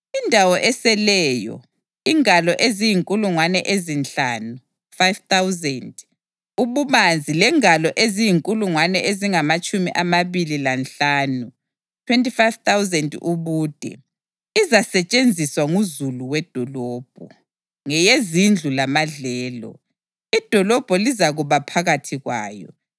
Indawo eseleyo, ingalo eziyinkulungwane ezinhlanu (5,000) ububanzi lengalo eziyinkulungwane ezingamatshumi amabili lanhlanu (25,000) ubude, izasetshenziswa nguzulu wedolobho, ngeyezindlu lamadlelo. Idolobho lizakuba phakathi kwayo